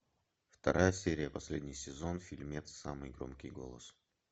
вторая серия последний сезон фильмец самый громкий голос